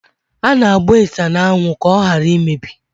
A na-agba ịsha n'anwụ ka ọ hara imebi.